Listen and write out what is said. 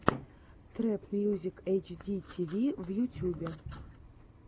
трэп мьюзик эйч ди ти ви в ютьюбе